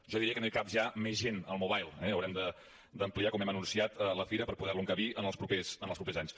jo diria que no hi cap ja més gent al mobile eh haurem d’ampliar com hem anunciat la fira per poder lo encabir en els propers anys